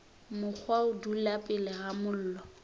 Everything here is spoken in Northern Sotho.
mokgwa dula pele ga mollo